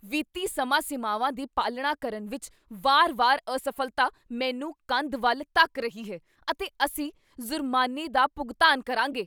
ਵਿੱਤੀ ਸਮਾਂ ਸੀਮਾਵਾਂ ਦੀ ਪਾਲਣਾ ਕਰਨ ਵਿੱਚ ਵਾਰ ਵਾਰ ਅਸਫ਼ਲਤਾ ਮੈਨੂੰ ਕੰਧ ਵੱਲ ਧੱਕ ਰਹੀ ਹੈ ਅਤੇ ਅਸੀਂ ਜ਼ੁਰਮਾਨੇ ਦਾ ਭੁਗਤਾਨ ਕਰਾਂਗੇ